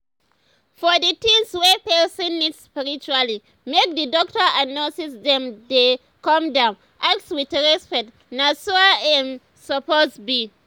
for d things wey person need spiritually make d doctors and nurses dem dey calm down ask with respect na so im suppose be.